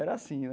Era assim, né?